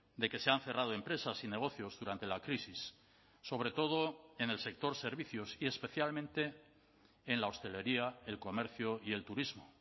de que se han cerrado empresas y negocios durante la crisis sobre todo en el sector servicios y especialmente en la hostelería el comercio y el turismo